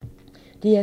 DR2